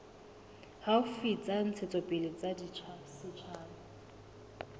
haufi tsa ntshetsopele ya setjhaba